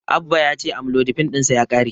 Abba ya ce Amlodipin ɗinsa ya ƙare.